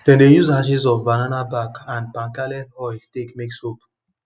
them de use ashes of banana back and palm kernel oil take make soap